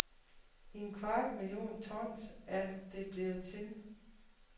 En kvart million tons er det blevet til.